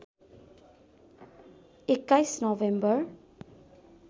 २१ November